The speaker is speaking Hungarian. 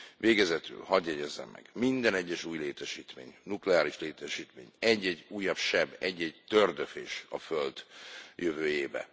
Végezetül hadd jegyezzem meg minden egyes új létesítmény, nukleáris létesítmény egy egy újabb seb, egy egy tőrdöfés a Föld jövőjébe.